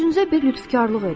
Özünüzə bir lütfkarlıq edin.